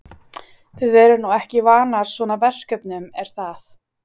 Þið eruð nú ekki vanar svona verkefnum er það?